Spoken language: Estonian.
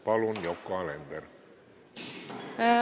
Palun, Yoko Alender!